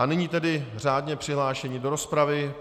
A nyní tedy řádně přihlášení do rozpravy.